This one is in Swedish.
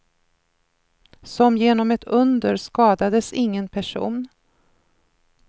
Som genom ett under skadades ingen person.